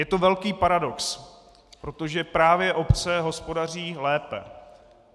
Je to velký paradox, protože právě obce hospodaří lépe.